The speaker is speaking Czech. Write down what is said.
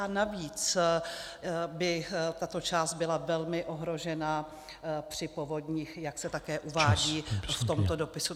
A navíc by tato část byla velmi ohrožena při povodních, jak se také uvádí v tomto dopisu.